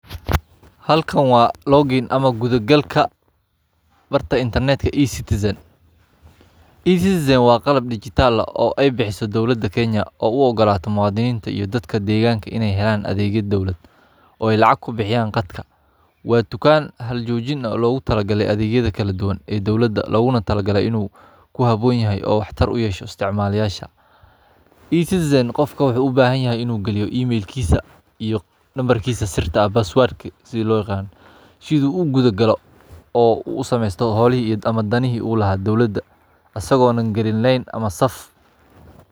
Waa madal casri ah oo dowladda Kenya ay u sameysay si ay u fududeyso adeegyada dowladda ee elektaroonigga ah, iyadoo ka dhigeysa mid sahlan in muwaadiniinta iyo dadka degan ay helaan adeegyo kala duwan iyagoo jooga gurigooda ama meel kasta oo ay joogaan. Madalkan wuxuu bixiyaa adeegyo badan sida codsashada baasaboorka.